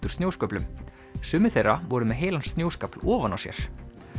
úr snjósköflum sumir þeirra voru með heilan snjóskafl ofan á sér